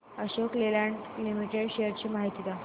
Ashok Leyland limited shares ची माहिती द्या